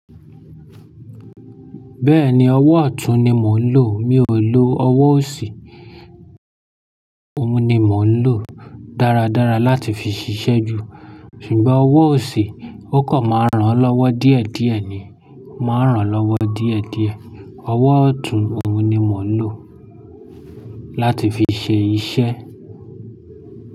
Bẹ́ẹ̀ni, ọwọ́ ọ̀tún ni mò ń lò. Mi ò lò ọwọ́ òsì. Òun ni mò ń lò dáradára láti fi ṣiṣẹ́ jù. Ṣùgbọ́n ọwọ́ òsì ó kọ̀ máa ràn lọ́wọ́ díẹ̀díẹ̀ ni. Máa ń ràn lọ́wọ́ díẹ̀díẹ̀. Ọwọ́ ọ̀tún òun ni mò ń lò láti fi ṣe iṣẹ́.